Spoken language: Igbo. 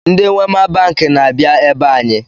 Ndị Wema banki na-abịa ebe anyị